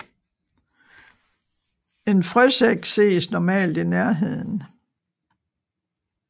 En frøsæk ses normalt i nærheden